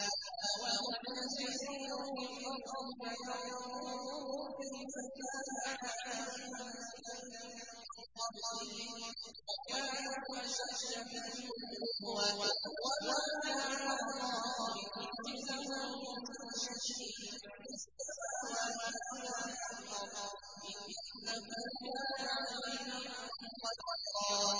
أَوَلَمْ يَسِيرُوا فِي الْأَرْضِ فَيَنظُرُوا كَيْفَ كَانَ عَاقِبَةُ الَّذِينَ مِن قَبْلِهِمْ وَكَانُوا أَشَدَّ مِنْهُمْ قُوَّةً ۚ وَمَا كَانَ اللَّهُ لِيُعْجِزَهُ مِن شَيْءٍ فِي السَّمَاوَاتِ وَلَا فِي الْأَرْضِ ۚ إِنَّهُ كَانَ عَلِيمًا قَدِيرًا